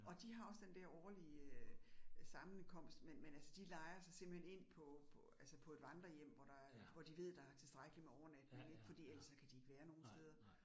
Og de har også den der årlige sammenkomst, men men altså de lejer sig simpelthen ind på på altså på et vandrehjem, hvor der er, hvor de ved, der er tilstrækkeligt med overnatninger ik, fordi ellers kan de ikke være nogen steder